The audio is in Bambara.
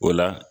O la